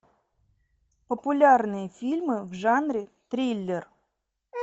популярные фильмы в жанре триллер